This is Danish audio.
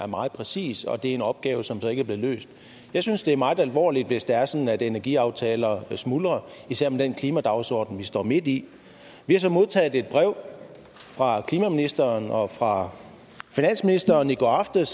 meget præcis og det er en opgave som så ikke er blevet løst jeg synes det er meget alvorligt hvis det er sådan at energiaftaler smuldrer især med den klimadagsorden vi står midt i vi har så modtaget et brev fra klimaministeren og fra finansministeren i går aftes